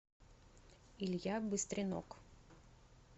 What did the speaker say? илья быстренок